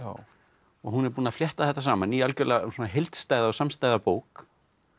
og hún er búin að flétta þetta saman í algjörlega heildstæða og samstæða bók